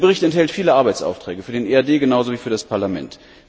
Dieser Bericht enthält viele Arbeitsaufträge für den EAD genauso wie für das Parlament.